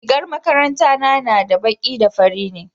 rigar makaranta na na da baƙi da fari ne